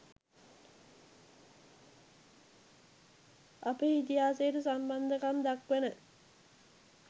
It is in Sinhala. අපේ ඉතිහාසයට සම්බන්ධකම් දක්වන